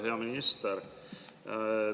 Hea minister!